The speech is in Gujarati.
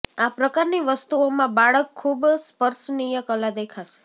આ પ્રકારની વસ્તુઓ માં બાળક ખૂબ સ્પર્શનીય કલા દેખાશે